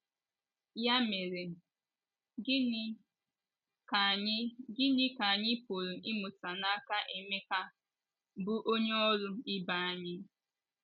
Ya mere, gịnị ka anyị gịnị ka anyị pụrụ ịmụta n’aka Emeka, bụ́ onye ọrụ ibe anyị?